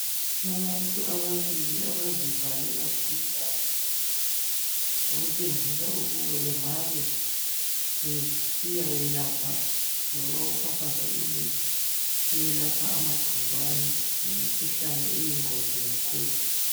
Abantu babili abazivale kakhulukazi okutshengisa ukuba bengabe besiyayelapha loba ukufafaza imithi eyelapha amagcikwane lemikhuhlane eyingozi kakhulu.